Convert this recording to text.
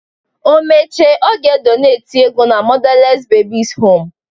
O mechee ọ ga-edoneti ego na mọdales bebis hom